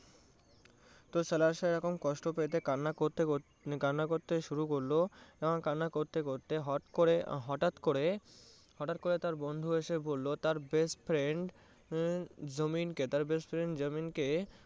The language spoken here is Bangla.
তো সাহেব এখন কষ্ট পেতে কান্না করতে শুরু করলো কান্না করতে করতে হট করে হঠাৎ করে, হঠাৎ করে তার বন্ধু এসে বললো তার best friend